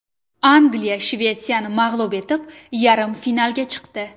Angliya Shvetsiyani mag‘lub etib, yarim finalga chiqdi.